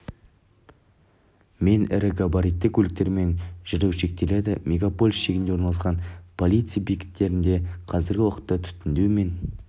мен ірі габаритті көліктермен жүру шектеледі мегаполис шегінде орналасқан полиция бекеттерінде қазіргі уақытта түтіндеу мен